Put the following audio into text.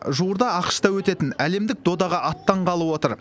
жуырда ақш та өтетін әлемдік додаға аттанғалы отыр